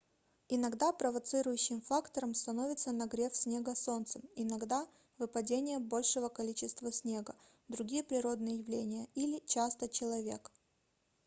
иногда провоцирующим фактором становится нагрев снега солнцем иногда выпадение большего количества снега другие природные явления или часто человек